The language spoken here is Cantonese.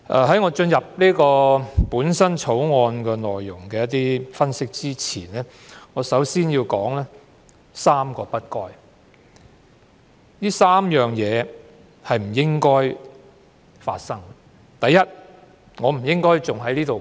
在我就《條例草案》的內容作出分析前，我想先提述3個"不該"，即3個不應該出現的情況。